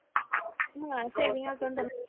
हा semi account आहे.